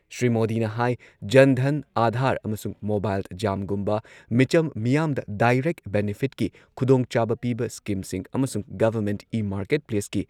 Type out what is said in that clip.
ꯁ꯭ꯔꯤ ꯃꯣꯗꯤꯅ ꯍꯥꯏ ꯖꯟ ꯙꯟ, ꯑꯥꯙꯥꯔ ꯑꯃꯁꯨꯡ ꯃꯣꯕꯥꯏꯜ, ꯖꯥꯝꯒꯨꯝꯕ ꯃꯤꯆꯝ ꯃꯤꯌꯥꯝꯗ ꯗꯥꯏꯔꯦꯛ ꯕꯦꯅꯤꯐꯤꯠꯀꯤ ꯈꯨꯗꯣꯡꯆꯥꯕ ꯄꯤꯕ ꯁ꯭ꯀꯤꯝꯁꯤꯡ ꯑꯃꯁꯨꯡ ꯒꯚꯔꯟꯃꯦꯟꯠ ꯏ-ꯃꯥꯔꯀꯦꯠꯄ꯭ꯂꯦꯁꯀꯤ